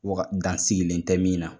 Waga dan sigilen tɛ min na.